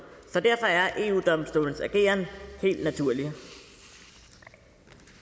så derfor er eu domstolens ageren helt naturlig